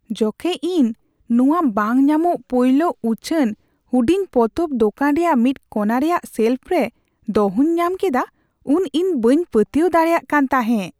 ᱡᱚᱠᱷᱮᱡ ᱤᱧ ᱱᱚᱣᱟ ᱵᱟᱝ ᱧᱟᱢᱚᱜ ᱯᱳᱭᱞᱳ ᱩᱪᱷᱟᱹᱱ ᱦᱩᱰᱤᱧ ᱯᱚᱛᱚᱵ ᱫᱳᱠᱟᱱ ᱨᱮᱭᱟᱜ ᱢᱤᱫ ᱠᱚᱱᱟ ᱨᱮᱭᱟᱜ ᱥᱮᱞᱯᱷ ᱨᱮ ᱫᱚᱦᱚᱧ ᱧᱟᱢ ᱠᱮᱫᱟ ᱩᱱ ᱤᱧ ᱵᱟᱹᱧ ᱯᱟᱹᱛᱭᱟᱹᱣ ᱫᱟᱲᱮᱭᱟᱜ ᱠᱟᱱ ᱛᱟᱦᱮᱸᱜ ᱾